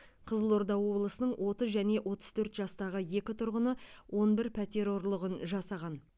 қызылорда облысының отыз және отыз төрт жастағы екі тұрғыны он бір пәтер ұрлығын жасаған